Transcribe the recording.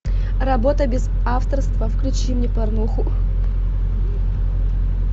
работа без авторства включи мне порнуху